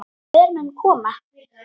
Hver mun koma?